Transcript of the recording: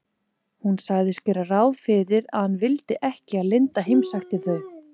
Hún sagðist gera ráð fyrir að hann vildi ekki að linda heimsækti þau.